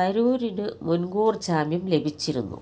തരൂരിനു മുൻകൂർ ജാമ്യം ലഭിച്ചിരുന്നു